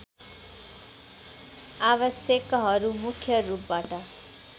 आवश्यकहरू मुख्य रूपबाट